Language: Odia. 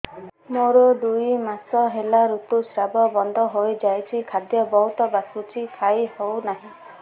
ମୋର ଦୁଇ ମାସ ହେଲା ଋତୁ ସ୍ରାବ ବନ୍ଦ ହେଇଯାଇଛି ଖାଦ୍ୟ ବହୁତ ବାସୁଛି ଖାଇ ହଉ ନାହିଁ